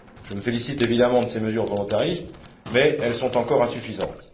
Je me félicite évidemment de ces mesures volontaristes mais elles sont encore insuffisantes.